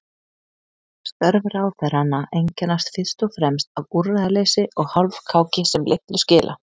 Störf ráðherranna einkennast fyrst og fremst af úrræðaleysi og hálfkáki sem litlu skila.